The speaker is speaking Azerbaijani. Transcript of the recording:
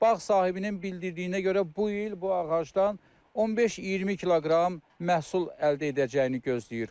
Bağ sahibinin bildirdiyinə görə bu il bu ağacdan 15-20 kiloqram məhsul əldə edəcəyini gözləyir.